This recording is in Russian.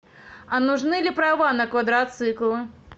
а нужны ли права на квадроциклы